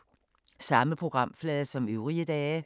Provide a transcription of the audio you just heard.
Samme programflade som øvrige dage